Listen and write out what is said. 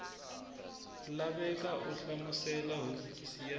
laveka u hlamusela hofisi ya